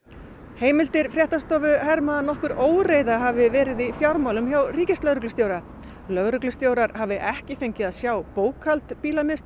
heimildir fréttastofu herma að nokkur óreiða hafi verið á fjármálum hjá ríkislögreglustjóra lögreglustjórar hafi ekki fengið að sjá bókhald